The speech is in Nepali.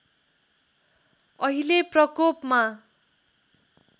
अहिले प्रकोपमा